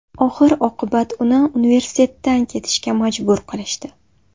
Oxir-oqibat uni universitetdan ketishga majbur qilishdi.